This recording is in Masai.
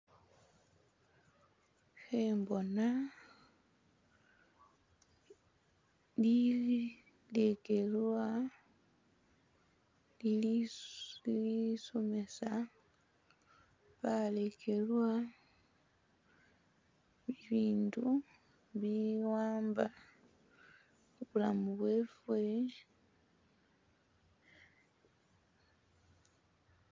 Khembona li-legelwa lilisomesa balekelwa bibindu bi'amba khubulamu bweffe